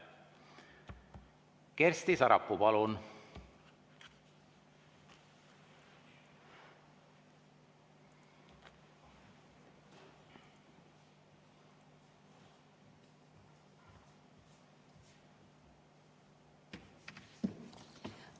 Kersti Sarapuu, palun!